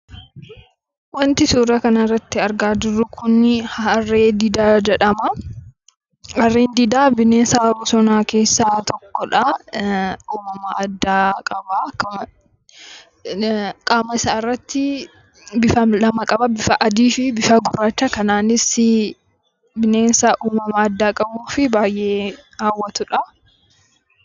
Wanti suuraa kana irratti argaa jirru Kun Harree Didaa jedhama. Harreen Didaan bineensa bosonaa keessaa tokkoo dha. Innis qaama isaa irratti bifa lama qaba: bifa Adii fi Gurraachaa dha. Dabalataanis bineensa addaa fi baayyee nama hawwatuu dha.